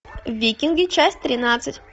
викинги часть тринадцать